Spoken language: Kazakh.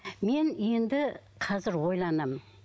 мен енді қазір ойланамын